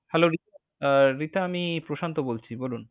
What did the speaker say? Hello, রি~ আহ রিতা আমি প্রশান্ত বলছি, বলনু।